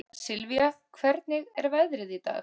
Sylvia, hvernig er veðrið í dag?